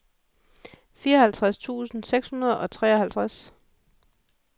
fireoghalvtreds tusind seks hundrede og treoghalvtreds